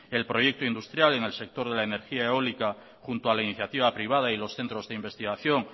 el proyecto industrial en el sector de la energía eólica junto a la iniciativa privada y los centros de investigación